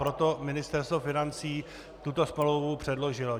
Proto Ministerstvo financí tuto smlouvu předložilo.